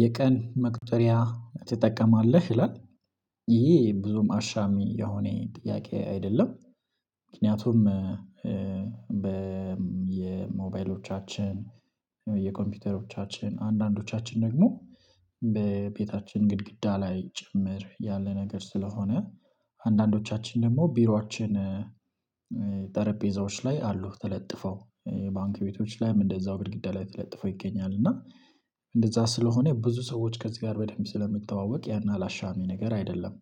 የቀን መቁጠሪያ ትጠቀማለህ ይላል? ይሄ ብዙም አሻሚ የሆነ ጥያቄ አይደለም። ምክንያቱም በየሞባይሎቻችን በየኮምፒውተሮቻችን አንዳንዶቻችን ደግሞ በቤታችን ግድግዳ ላይ ጭምር ያለ ነገር ስለሆነ አንዳንዶቻችን ደግሞ ቢሯችን ጠረጴዛዎች ላይ አሉ ተለጥፈው ባንክ ቤቶች ላይም እንደዛው ግድግዳ ላይ ተለጥፈው ይገኛል እና እንደዛ ስለሆነ ብዙ ሰዎች ከዚህ ጋር በደንብ ስለሚተዋወቅ ያን አላሻሚ ነገር አይደለም።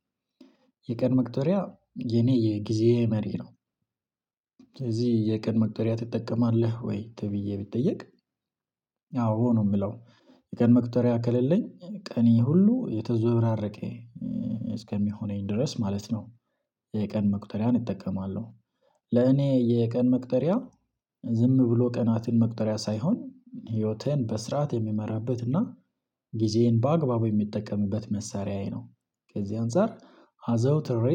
የቀን መቁጠሪያ የኔ የጊዜዬ መሪ ነው። ስለዚህ የቀን መቁጠሪያ ትጠቀማለህ ወይ ተብዬ ብጠየቅ አዎ ነው የምለው የቀን መቁጠሪያ ከሌለኝ ቀኔ ሁሉ የተዘዋወራረቀ እስከሚሆነኝ ድረስ ማለት ነው። የቀን መቁጠሪያን እጠቀማለሁ። ለእኔ የቀን መቅጠሪያ ዝም ብሎ ቀናትን መቁጠሪያ ሳይሆን ህይወቴን በስርዓት የምመራበትና እና ጊዜዬን በአግባቡ የምጠቀምበት መሳሪያዬ ነው ከዚህ አንፃር አዘውትሬ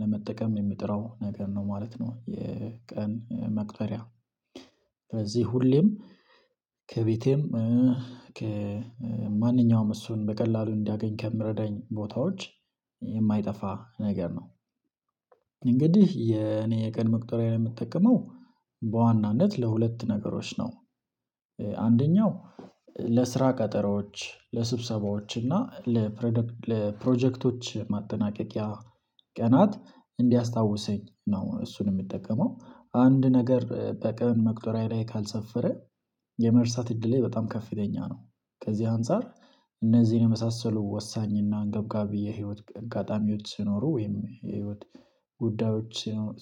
ለመጠቀም የምጥረው ነገር ነው ማለት ነው። የቀን መቁጠሪያ ስለዚህ ሁሌም ከቤቴም ከማንኛውም እሱን በቀላሉ እንዳገኝ ከሚረዳኝ ቦታዎች የማይጠፋ ነገር ነው። እንግዲህ የኔ የቀን መቁጠሪያዬን የምትጠቀመው በዋናነት ለሁለት ነገሮች ነው። አንደኛው ለስራ ቀጠሮዎች ለስብሰባዎች እና ለፕሮጀክቶች ማጠናቀቂያ ቀናት እንዲያስታውሰኝ ነው እሱን የምጠቀመው አንድ ነገር በቀን መቁጠሪያዬ ላይ ካልሰፈረ የመርሳት እድሌ በጣም ከፍተኛ ነው። ከዚህ አንፃር እነዚህን የመሳሰሉ ወሳኝና አንገብጋቢ የህይወት አጋጣሚዎች ሲኖሩ ወይም የህይወት ጉዳዮች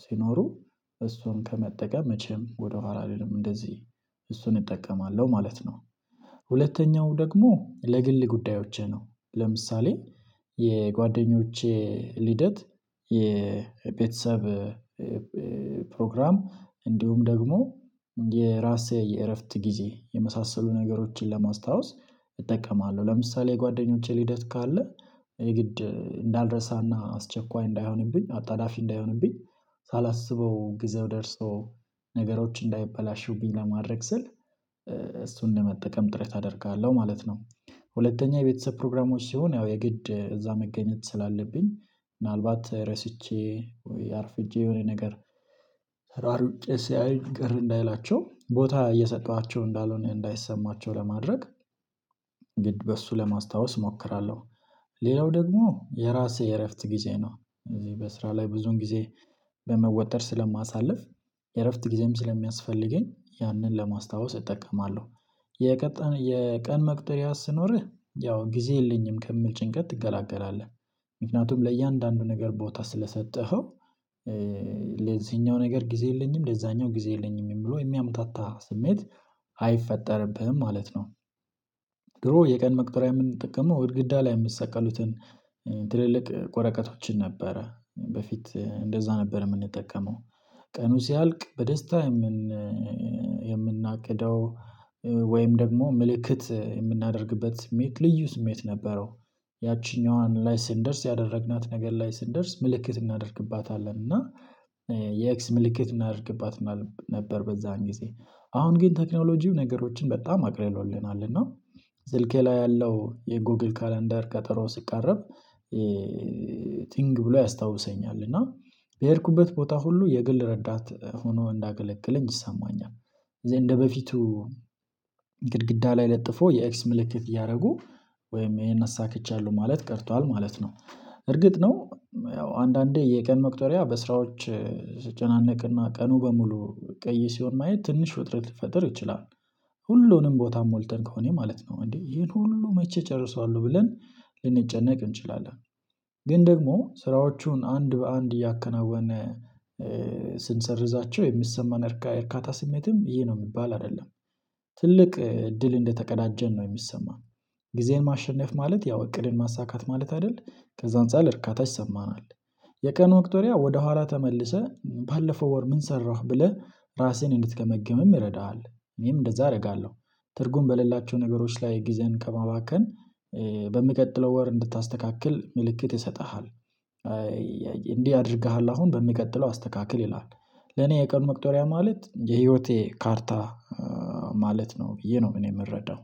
ሲኖሩ እሱን ከመጠቀም መቼም ወደኋላ አልልም እንደዚህ እሱን እጠቀማለሁ ማለት ነው። ሁለተኛው ደግሞ ለግል ጉዳዮቼ ነው ለምሳሌ የጓደኞቼ ልደት የቤተሰብ ፕሮግራም እንዲሁም ደግሞ የራሴ የእረፍት ጊዜ የመሳሰሉ ነገሮችን ለማስታወስ እጠቀማለሁ ለምሳሌ የጓደኞቼ ልደት ካለ የግድ እንዳልረሳና አስቸኳይ እንዳይሆንብኝ አጣዳፊ እንዳይሆንብኝ ሳላስበው ግዛው ደርሶ ነገሮች እንዳይበላሹብኝ ለማድረግ ስል እሱን ለመጠቀም ጥረት አደርጋለሁ ማለት ነው። ሁለተኛ የቤተሰብ ፕሮግራሞች ሲሆን ያው የግድ እዛ መገኘት ስላለብኝ ምናልባት ረስቼ ወይ አርፍጄ ወይ የሆነ ነገር ተሯሩጬ ሲያዩኝ ቅር እንዳይላቸው ቦታ እየሰጠኋቸው እንዳልሆነ እንዳይሰማቸው ለማድረግ ግድ በሱ ለማስታወስ እሞክራለሁ። ሌላው ደግሞ የራሴ የእረፍት ጊዜ ነው እዚህ በስራ ላይ ብዙን ጊዜ በመወጠር ስለማሳልፍ የእረፍት ጊዜም ስለሚያስፈልገኝ ያንን ለማስታወስ እጠቀማለሁ። የቀን የቀን መቁጠሪያ ሲኖርህ ያው ጊዜ የለኝም ከሚል ጭንቀት ትገላገላለህ ምክንያቱም ለእያንዳንዱ ነገር ቦታ ስለሰጠኸው ለዚህኛው ነገር ጊዜ የለኝም ለዛኛው ጊዜ የለኝም ብሎ የሚያምታታ ስሜት አይፈጠርብህም ማለት ነው። ድሮ የቀን መቁጠሪያ የምንጠቀመው ግድግዳ ላይ የሚሰቀሉትን ትልልቅ ወረቀቶችን ነበረ በፊት እንደዛ ነበር የምንጠቀመው። ቀኑ ሲያልቅ በደስታ የምን የምናቅደው ወይም ደግሞ ምልክት የምናደርግበት ስሜት ልዩ ስሜት ነበረው። ያቺኛዋን ላይ ስንደርስ ያደረግናት ነገር ላይ ስንደርስ ምልክት እናደርግባታለን እና የኤክስ ምልክት እናደርግባት ምናምን ነበር በዛን ጊዜ አሁን ግን ቴክኖሎጂው ነገሮችን በጣም አቅልሎልናል እና ስልኬ ላይ ያለው የጎግል ካላንደር ቀጠሮ ሲቃረብ ቲንግ ብሎ ያስታውሰኛል እና በሄድኩበት ቦታ ሁሉ የግል ረዳት ሆኖ እንዳገለግለኝ ይሰማኛል። እንደበፊቱ ግድግዳ ላይ ለጥፎ የኤክስ ምልክት እያደረጉ ወይም ይሄን አሳክቻለሁ ማለት ቀርቷል ማለት ነው። እርግጥ ነው ያው አንዳንዴ የቀን መቅጠሪያ በስራዎች ስጨናነቅና ቀኑ በሙሉ ቀይ ሲሆን ማየት ትንሽ ውጥረት ሊፈጥር ይችላል ሁሉንም ቦታ ሞልተን ከሆነ ማለት ነው እንዴ ይሄን ሁሉ መቼ ጨርሰዋለሁ ብለን ልንጨነቅ እንችላለን? ግን ደግሞ ስራዎቹን አንድ በአንድ እያከናወነ ስንሰርዛቸው የሚሰማን እርካታ ስሜትም ይሄ ነው የሚባል አይደለም ትልቅ እድል እንደተቀዳጀን ነው የሚሰማን ጊዜን ማሸነፍ ማለት ያው እቅድን ማሳካት ማለት አይደል ከዛ አንፃር እርካታ ይሰማናል። የቀን መቁጠሪያ ወደ ኋላ ተመልሰህ ባለፈው ወር ምን ሰራህ ብለህ ራስህን እንድትገመግምም ይረዳሃል። እኔም እንደዛ አደርጋለሁ ትርጉም በሌላቸው ነገሮች ላይ ጊዜህን ከማባከን በሚቀጥለው ወር እንድታስተካክል ምልክት ይሰጥሃል። እንዲህ አድርገሃል አሁን በሚቀጥለው አስተካክል ይልሃል ለኔ የቀን መቁጠሪያ ማለት የህይወቴ ካርታ ማለት ነው። ብዬ ነው እኔ የምረዳው